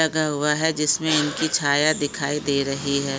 लगा हुआ है। जिसमें इनकी छाया दिखाई दे रही है।